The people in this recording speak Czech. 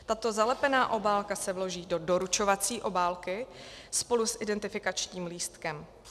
Tato zalepená obálka se vloží do doručovací obálky spolu s identifikačním lístkem.